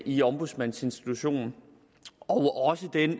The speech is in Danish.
i ombudsmandsinstitutionen og også den